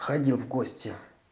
ходил в гости